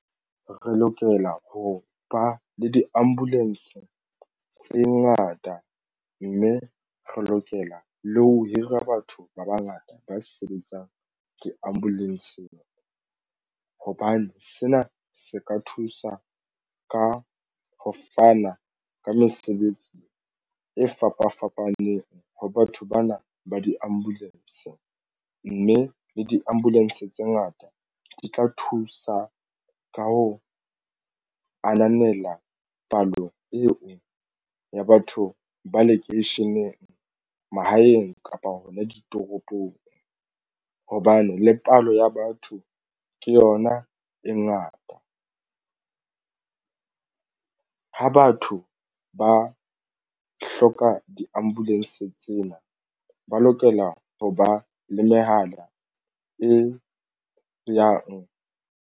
Re lokela ho ba le diambulanse tse ngata mme re lokela le ho hira batho ba bangata ba sebetsang diambulansng hobane sena se ka thusa ka ho fana ka mesebetsi e fapafapaneng ho batho bana ba diambulanse mme le diambulanse tse ngata di tla thusa ka ho ananela palo eo ya batho ba lekeisheneng mahaeng kapa hona ditoropong hobane le palo ya batho ke yona e ngata. Ha batho ba hloka diambulanse tsena ba lokela ho ba le mehala e yang.